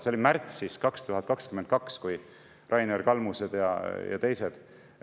See oli märtsis 2022, kui Rainer Kalmused ja teised …